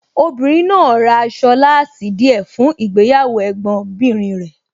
Obìnrin náà ra aṣọ láàsì díẹ̀ fún ìgbéyàwó Ẹ̀gbọ́n bìnrin rẹ̀.